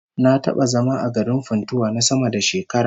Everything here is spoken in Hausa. Na taba zama a garin Funtua na sama da shekara